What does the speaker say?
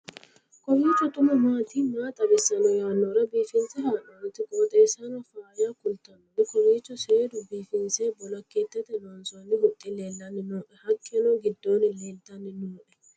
kowiicho xuma mtini maa xawissanno yaannohura biifinse haa'noonniti qooxeessano faayya kultannori kowiicho seedu biifinse bolokeetete loonsoonni huxxi lellanni nooe haqqeno gidddo leeltanni nooe